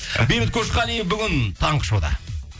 бейбіт көшқалиев бүгін таңғы шоуда